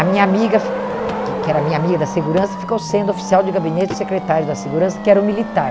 A minha amiga fi, que que era minha amiga da segurança, ficou sendo oficial de gabinete do secretário da segurança, que era um militar.